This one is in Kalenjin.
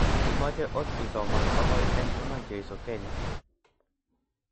Imcge ot isoman kogoit en iman jesu Kenya.